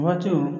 Waatiw